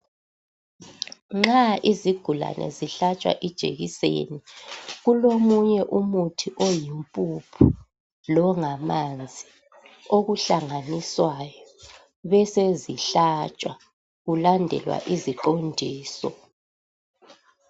Nxa izigulane zihlatshwa ijekiseni kulomunye umuthi oyimpuphu longamanzi okuhlanganiswayo besezihlatshwa kulandelwa iziqondiso.